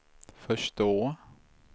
förstå